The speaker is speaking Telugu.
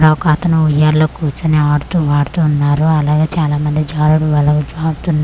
ఈడ ఒకతను ఉయ్యాల్లో కూర్చొని ఆడుతూ పాడుతూ ఉన్నారు అలాగే చాలామంది జారుడుబలలో జారుతు--